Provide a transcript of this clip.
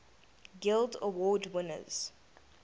guild award winners